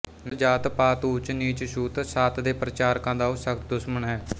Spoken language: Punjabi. ਨਸਲ ਜਾਤ ਪਾਤਊਚ ਨੀਚਛੂਤ ਛਾਤਦੇ ਪ੍ਰਚਾਰਕਾਂ ਦਾ ਉਹ ਸਖ਼ਤ ਦੁਸਮਣ ਹੈ